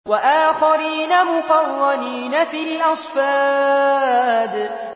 وَآخَرِينَ مُقَرَّنِينَ فِي الْأَصْفَادِ